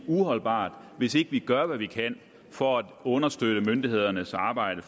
uholdbart hvis ikke vi gør hvad vi kan for at understøtte myndighedernes arbejde